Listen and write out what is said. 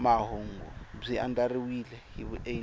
mahungu byi andlariwile hi vuenti